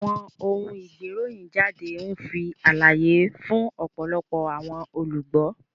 Awọn oun-igberohinjade nfi alaye fun ọpọlọpọ awọn olugbo.